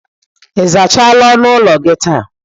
Ị zachara ọnụ ụlọ gị taa?